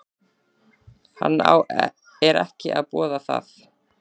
Hann er ekki að boða það.